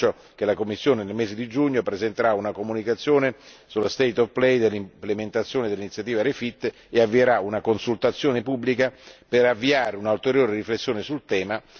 Vi annuncio che la Commissione nel mese di giugno presenterà una comunicazione sullo state of play dell'implementazione dell'iniziativa REFIT e avvierà una consultazione pubblica per attuare un'ulteriore riflessione sul tema.